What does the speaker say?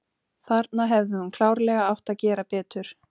Þarna hefði hún klárlega átt að gera betur.